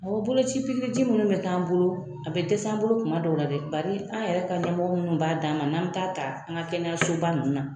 Mɔgɔ boloci minnu bɛ k'an bolo a bɛ dɛsɛ an bolo tuma dɔ la dɛ bari an yɛrɛ ka ɲɛmɔgɔ minnu b'a d'an ma n'an bɛ ta'a ta an ka kɛnɛsoba ninnu na